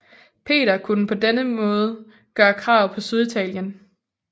Peter kunne på den måde gøre krav på Syditalien